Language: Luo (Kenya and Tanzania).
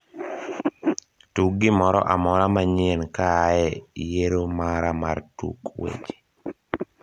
tug gimoro amora ma nyien kaae yiero mara mar tuk weche